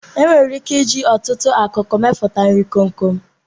E nwere ike ịji ọtụtụ akụkụ meputa nri komkom.